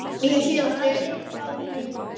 Aðrir fá minna.